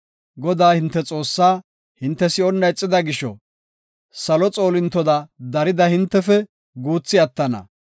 Godaa, hinte Xoossa hinte si7onna ixida gisho, salo xoolintoda darida hintefe guuthi attana.